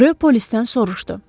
Rö polisdən soruşdu.